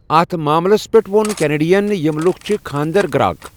اَتھ معاملَس پٮ۪ٹھ ووٚن کینیڈیَن، 'یِم لوٗکھ چھِ خانٛدرٕ گراك۔